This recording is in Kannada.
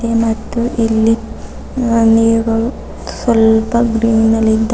ಮತ್ತು ಇಲ್ಲಿ ನೀರ್ ಗಳು ಸ್ವಲ್ಪ ಗ್ರೀನ್ ಅಲ್ ಇದ್ದ--